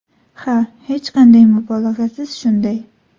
Ha, hech qanday mubolag‘asiz shunday.